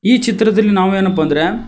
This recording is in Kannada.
ಈ ಚಿತ್ರದಲ್ಲಿ ನಾವು ಏನಪ್ಪಾ ಅಂದ್ರೆ--